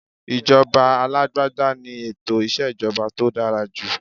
Ijoba alagbada ni eto ìṣèjọba tó dára jù